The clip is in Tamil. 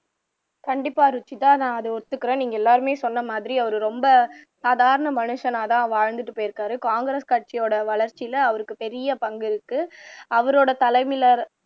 கண்டிப்பா ருஷித நான் ஒத்துக்கிறேன் நீங்க எல்லாருமே சொன்னமாதிரி அவரு ரொம்ப சாதாரண மனுசனாத்தான் வாழ்ந்துட்டு போயிருக்கிறாரு காங்கிரஸ் கட்சியோட வளர்ச்சியில அவருக்கு பெரிய பங்கு இருக்கு அவரோட தலைமையில